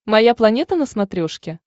моя планета на смотрешке